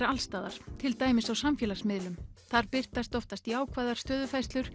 alls staðar til dæmis á samfélagsmiðlum þar birtast alltaf jákvæðar